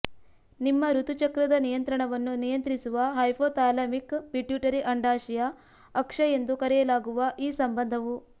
ನಿಮ್ಮ ಋತುಚಕ್ರದ ನಿಯಂತ್ರಣವನ್ನು ನಿಯಂತ್ರಿಸುವ ಹೈಪೋಥಾಲಾಮಿಕ್ ಪಿಟ್ಯುಟರಿ ಅಂಡಾಶಯ ಅಕ್ಷ ಎಂದು ಕರೆಯಲಾಗುವ ಈ ಸಂಬಂಧವು